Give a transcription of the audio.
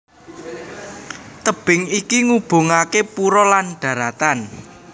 Tebing iki ngubungaké pura lan dharatan